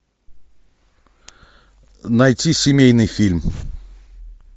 найти семейный фильм